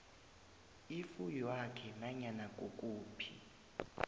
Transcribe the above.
ifuywakhe nanyana kukuphi